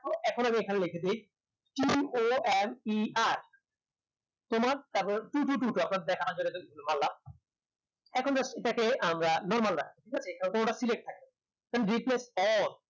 এখন আমি এখানে লেখে দিই corer তোমার তারপরে two two two আপনাদের দেখানোর জন্য just করলাম উষ্ণ just এটাকে আমরা normal রাখবো ঠিক আছে কেন ওটা select থাকবে all